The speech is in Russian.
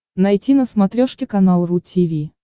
найти на смотрешке канал ру ти ви